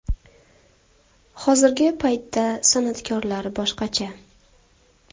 Hozirgi paytda san’atkorlar boshqacha.